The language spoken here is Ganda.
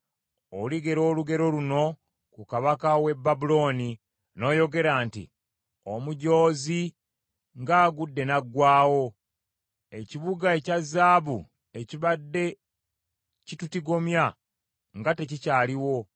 oligera olugero luno ku kabaka w’e Babulooni n’oyogera nti: Omujoozi ng’agudde n’aggwaawo! Ekibuga ekya zaabu ekibadde kitutigomya nga tekikyaliwo!